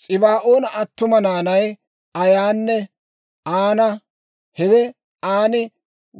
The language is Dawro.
S'ibaa'oona attuma naanay Aayanne Aana; hawe Aani